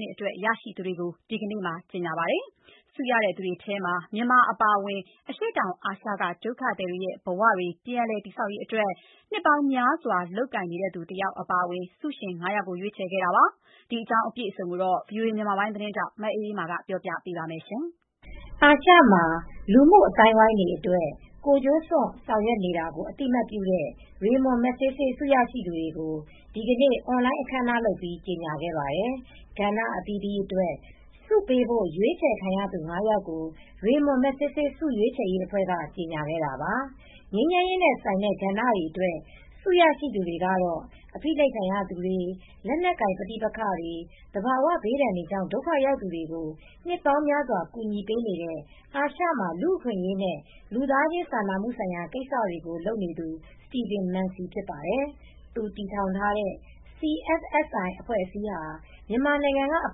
နှစ်အတွက် ရရှိသူတွေကို ဒီကနေ့ကြေညာပါတယ်။ ဆုရရှိသူ တွေထဲမှာ မြန်မာနိုင်ငံက အပါအဝင် အရှေ့တောင်အာရှက ဒုက္ခသည်တွေရဲ့ ဘဝတွေ ပြန်လည်တည်ဆောက်ရေးအတွက် နှစ်ပေါင်းများစွာ လုပ်ကိုင်နေသူတယောက်အပါအဝင် ဆုရှင် ၅ ယောက်ကိုရွေးချယ်ခဲ့ပါတယ်။ အပြည့်အစုံကို ဗွီအိုအေသတင်းထောက်မအေးအေးမာကပြောပြပေးပါမယ်။ အာရှမှာ လူမှုအသိုင်းအဝိုင်းတွေအတွက် ကိုယ်ကျိုးစွန့် ဆောင်ရွက်နေကို အသိအမှတ်ပြုတဲ့ Ramon Magsaysay ဆုရရှိသူတွေကို ဒီနေ့ အွန်လိုင်းအခမ်းအနားလုပ်ပြီး ကြေညာခဲ့ပါတယ်။ ကဏ္ဍအသီးသီးအတွက် ဆုပေးဖို့ ရွေးချယ်ခံရသူ ၅ ယောက်ကို Ramon Magsaysay ဆုရွေးချယ်ရေးအဖွဲ့က ကြေညာခဲ့တာပါ။ ငြိမ်းချမ်းရေးနဲ့ဆိုင်တဲ့ကဏ္ဍအတွက် ဆုရရှိသူကတော့ အဖိနှိပ်ခံရသူတွေ၊ လက်နက်ကိုင်ပဋိပက္ခတွေ၊ သဘာဝဘေးဒဏ်တွေကြောင့် ဒုက္ခရောက်သူတွေကို နှစ်ပေါင်းများစွာ ကူညီနေတဲ့ အာရှမှာ လူ့အခွင့်အရေးနဲ့ လူသားချင်းစာနာမှုဆိုင်ရာကိစ္စတွေကို လုပ်နေသူ Steven Mency ဖြစ်ပါတယ်။ သူတည်ထောင်ထားတဲ့ CFSI အဖွဲ့အစည်းဟာ မြန်မာနိုင်ငံကအ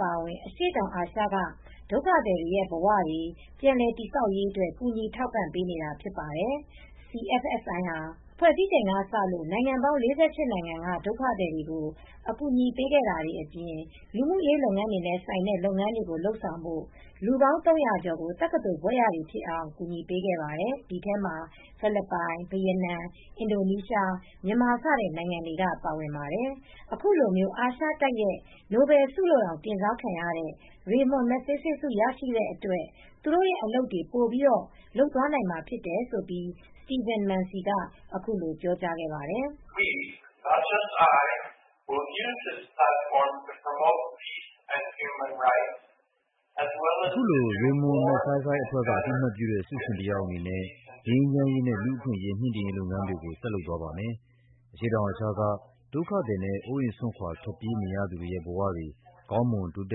ပါအဝင် အရှေ့တောင်အာရှက ဒုက္ခသည်တွေရဲ့ဘဝတွေ ပြန်လည်တည်ဆောက်ရေးအတွက် ကူညီထောက်ပံ့ပေးနေတာဖြစ်ပါတယ်။ CFSI ဟာ ဖွဲ့စည်းချိန်ကစလို့ နိုင်ငံပေါင်း ၄၈ နိုင်ငံကဒုက္ခသည်တွေကိုအကူညီပေးခဲ့တဲ့အပြင် လူမူရေးလုပ်ငန်းတွေနဲဆိုင်တဲ့လုပ်ငန်းတွေလုပ်နိုင်ဖို့ လူပေါင်း ၃၀၀ကျော်ကို တက္ကသိုလ်ဘွဲ့ရတွေဖြစ်အောင် ကူညီပေးခဲ့ပါတယ်။ ဒီထဲမှာဖိလစ်ပိုင်၊ ဗီယက်နမ်၊ အင်ဒိုနီးရှား၊ မြန်မာစတဲ့နိုင်ငံတွေက ပါပါတယ်။ ခုလို အာရှတိုက်ရဲ့ နိုဘဲလ်ဆုလို့တောင် တင်စားခံရတဲ့ Ramon Magsaysay ဆုရရှိတဲ့အတွက် သူတို့ရဲ့ အလုပ်တွေပိုပြီး လုပ်သွားနိုင်မှာဖြစ်တယ်လို့ စတီဗန် မန်စီက ခုလို ပြောကြားခဲ့ပါတယ်။ "အခုလို ရေမွန်မက်ဆိုင်းဆိုင်းအဖွဲ့က အသိအမှတ်ပြုတဲ့ ဆုရှင်တယောက်အနေနဲ့ ငြိမ်းချမ်းရေးနဲ့ လူ့အခွင့်ရေး မြှင့်တင်ရေးလုပ်ငန်းတွေကို ဆက်လုပ်သွားပါမယ်။ အရှေ့တောင်အာရှက ဒုက္ခသည်နဲ့ အိုးအိမ်စွန်ခွာထွက်ပြေးနေရသူတွေရဲ့ ဘဝတွေ ကောင်းမွန်တိုးတ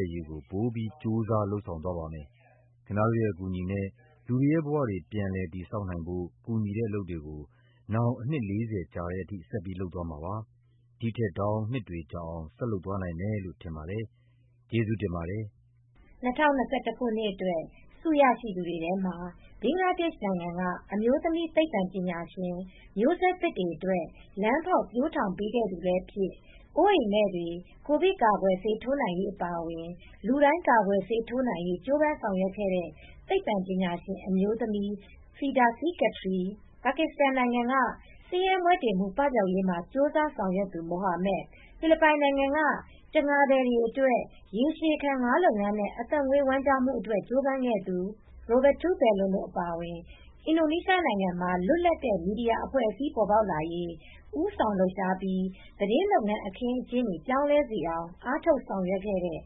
က်ရေးကို ပိုပြီး ကြိုးစား လုပ်ဆောင်သွားပါမယ်။ ခင်ဗျားတို့ရဲ့ အကူအညီနဲ့ လူတွေရဲ့ ဘဝတွေ ပြန်လည်တည်ဆောက်နိုင်ဖို့ ကူညီတဲ့အလုပ်တွေကို နောင်အနှစ် ၄၀ ကြာတဲ့အထိ ဆက်ပြီးလုပ်သွားမှာပါ။ ဒီထက်တောင်နှစ်တွေကြာအောင် ဆက်လုပ်သွားနိုင်မယ်လို့ထင်ပါတယ်။ ကျေးဇူးတင်ပါတယ်။ " ၂၀၂၁ ခုနှစ်အတွက် ဆုရရှိသူတွေထဲမှာ ဘင်္ဂလားဒေရှ့်နိုင်ငံက အမျိုးသမီးသိပ္ပံပညာရှင်မျိုးဆက်သစ်တွေအတွက် လမ်းဖောက်ပျိုးထောင်ခဲ့သူလည်းဖြစ်၊ အိုးအိမ်မဲ့တွေကိုဗစ်ကာကွယ်ဆေးထိုးနိုင်ရေးအပါအဝင် လူတိုင်း ကာကွယ်ဆေးထိုးနိုင်ရေးကြိုးပမ်း ဆောင်ရွက်ခဲ့တဲ့ သိပ္ပံပညာရှင်အမျုးိသမီး Firdausi Qadri၊ ပါကစ္စတန်နိုင်ငံမှာ ဆင်းရဲမွဲတေမှု ပပျောက်ရေးကြိုးစား ဆောင်ရွက်သူ Muhammad Amjad Saqib၊ ဖိလစ်ပိုင်နိုင်ငံက တံငါသည်တွေအတွက် ရေရှည်ခံငါးလုပ်ငန်းနဲ့ အသက်မွေးဝမ်းကျောင်းမှုအတွက် ကြိုးပမ်းခဲ့သူ Roberto Ballon တို့အပြင် အင်ဒိုနီးရှားနိုင်ငံမှာ လွတ်လပ်တဲ့ မီဒီယာအဖွဲ့အစည်းတွေပေါ်ပေါက်လာရေး ဦးဆောင်လှုပ်ရှားပြီး သတင်းလုပ်ငန်းအခင်း အကျင်း ပြောင်းလဲသွားစေအောင်အားထုတ်ဆောင်ရွက်ခဲ့တဲ့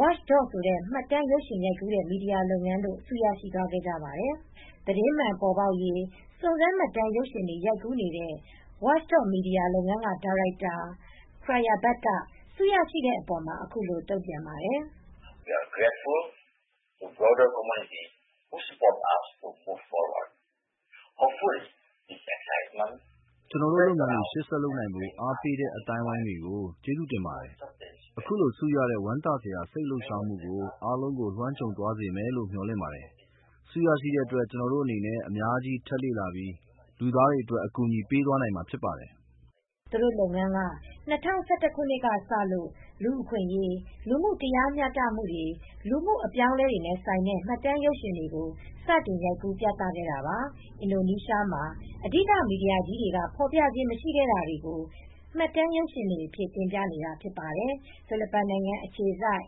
Watchdoc ဆိုတဲ့ မှတ်တမ်းရုပ်ရှင်ရိုက်ကူးတဲ့ မီဒီယာလုပ်ငန်းတို့ ဆုရရှိသွားကြပါတယ်။ သတင်းမှန်ပေါ်ပေါက်ရေး စုံစမ်းမှတ်တမ်းရုပ်ရှင်တွေ ရိုက်ကူးနေတဲ့ Wactchdoc Media လုပ်ငန်းက ဒါရိုက်တာ Cayabrab Ramondo Pujante က ဆုရရှိတဲ့အပေါ် ခုလို တုံ့ပြန်ပါတယ်။ "ကျွန်တော်တို့ လုပ်ငန်းတွေ ရှေ့ဆက်လုပ်နိုင်ဖို့ အားပေးတဲ့ အသိုင်းအဝိုင်းတွေကို ကျေးဇူးတင်ပါတယ်။ အခုလို ဆုရတဲ့ ဝမ်းသာစရာ စိတ်လှုပ်ရှားမှုကို အားလုံးကို လွှမ်းခြုံသွားစေမယ်လို့ မေ ျှာ်လင့်ပါတယ်။ ဆုရရှိတဲ့အတွက် ကျွန်တော်တို့အနေနဲ့ အများကြီး ထပ်လေ့လာပြီး လူသားတွေအတွက် အကူအညီပေးသွားနိုင်မှာဖြစ်ပါတယ် " လို့ပြောသွားတာပါ။ သူတို့လုပ်ငန်းက ၂၀၁၁ ခုနှစ်ကစလို့ လူအခွင့်ရေး လူမူတရားမျှတမူတွေ လူမူ့အပြောင်းအလဲတွေနဲ့ဆိုင်တဲ့ မှတ်တမ်းရုပ်ရှင်တွေကို စတင်ရိုက်ကူးပြသခဲ့တာပါ။ အင်ဒိုနီရှားမှာ အဓိကမီဒီယာကြီး တွေက ဖော်ပြခြင်းမရှိတာတာတွေကို မှတ်တမ်းရုပ်ရှင်တွေအတွက် တင်ပြနေတာဖြစ်ပါတယ်။ ဖိလစ်ပိုင်နိုင်ငံအခြေစိုက်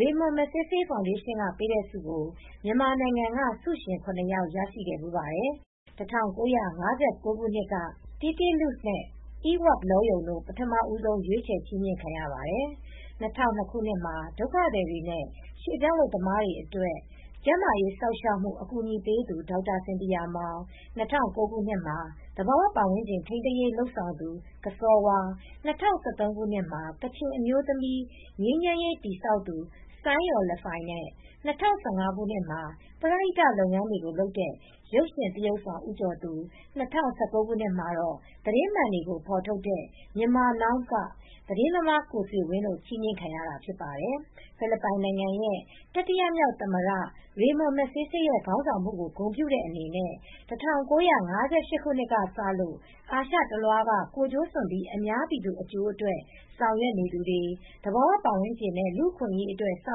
Ramon Magsaysay ဖောင်ဒေရှင်းက ပေးတဲ့ ဆုကို မြန်မာနိုင်ငံက ဆုရှင် ၇ ယောက်ရရှိဖူးပါတယ်။ ၁၉၅၉ ခုနှစ်က Tee Tee Luce၊ နဲ့ Eeward Law Yone တို့ ပထမဆုံး ရွေးချယ်ချီးမြှင့်ခံရပါတယ် ။ ၂၀၀၂မှာ ဒုက္ခသည်တွေနဲ့ ရွေပြောင်းအလုပ်သမားတွေအတွက်ကျန်းမာရေးစောင့်ရှောက်မူ့ အကူညီပေးသူဒေါက်တာ စင်သီယာမောင်၊ ၂၀၀၉ခုနှစ်မှာ သဘာဝပတ်ဝန်းကျင်ထိမ်းသိမ်ရေးလုပ်ဆောင်သူကစောဝါး၊ ၂၀၁၃ခုနှစ်မှာ ကချင်အမျိုးသမီး ငြိမ်းချမ်းရေးတည်ဆောက်သူဆိုင်းရော်လဖိုင်နဲ့ ၂၀၁၅ခုနှစ်မှာ ပရဟိတလုပ်ငန်းတွေကိုလုပ်တဲ့ ရုပ်ရှင်သရုပ်ဆောင်ဦးကျော်သူ၂၀၁၉ နှစ်မှာတော့ သတင်းမှန်တွေကိုဖော်ထုတ်တဲ့ Myanmar Now ကသတင်းသမားကိုဆွေဝင်းတို့ ချီးမြှင့်ခံရတာ ဖြစ်ပါတယ်။ ဖိလစ်ပိုင်နိုင်ငံရဲ့ တတိယမြောက်သမ္မတ Ramon Magsaysay ရဲ့ ခေါင်းဆောင်မှုကို ဂုဏ်ပြုတဲ့အနေနဲ့ ၁၉၅၈ ခုနှစ်ကစလို့ အာရှဒေသတလွှားက ကိုယ်ကျိုးစွန့်ပြီး အများပြည်သူအကျိုးအတွက် ဆောင်ရွက်နေသူတွေ၊ သဘာဝပတ်ဝန်းကျင်နဲ့ လူ့အခွင့်အရေးအတွက် ဆော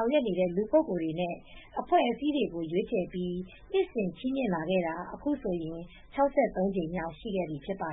င်ရွက်တဲ့ လူပုဂ္ဂိုလ်တွေနဲ့ အဖွဲ့အစည်းတွေကို ရွေးချယ်ပြီး နှစ်စဉ် ချီးမြှင့်လာခဲ့တာ အခုဆိုရင် ၆၃ ကြိမ်မြောက် ရှိခဲ့ပြီ ဖြစ်ပါ